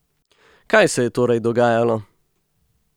Kaj se je torej dogajalo?